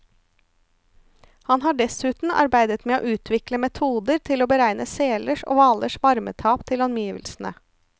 Han har dessuten arbeidet med å utvikle metoder til å beregne selers og hvalers varmetap til omgivelsene.